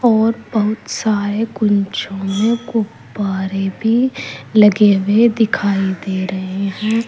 और बहुत सारे कुंछो मे गुब्बारे भी लगे हुए दिखाई दे रहे हैं।